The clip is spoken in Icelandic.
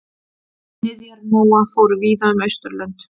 Niðjar Nóa fóru víða um Austurlönd.